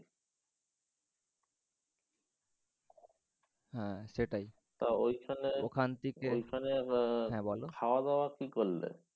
হ্যাঁ সেটাই। তো ঐখানে ওখান থেকে ওখানে হ্যাঁ বলও ওখানে খাওয়া দাওয়া কি করলে?